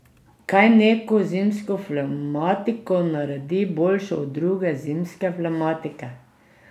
Kaj neko zimsko pnevmatiko naredi boljšo od druge zimske pnevmatike?